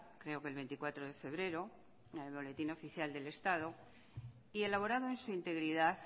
creo que el veinticuatro de febrero en el boletín oficial del estado y elaborada en su integridad